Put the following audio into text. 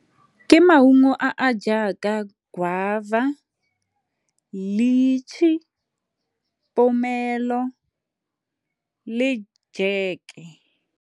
Ke maungo a a jaaka guava, lichi, le jeke.